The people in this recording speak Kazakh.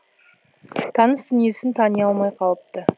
таныс дүниесін тани алмай қалыпты